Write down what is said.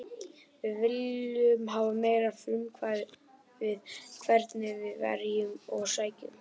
Við viljum hafa meira frumkvæði hvernig við verjum og sækjum.